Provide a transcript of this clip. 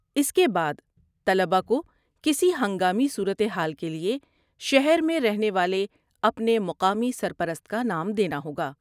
اس کے بعد، طلبہ کو کسی ہنگامی صورت حال کے لیے شہر میں رہنے والے اپنے مقامی سرپرست کا نام دینا ہوگا۔